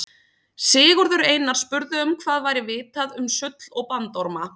Sigurður Einar spurði um hvað væri vitað um sull og bandorma.